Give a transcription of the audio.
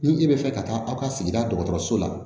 Ni e bɛ fɛ ka taa aw ka sigida dɔgɔtɔrɔso la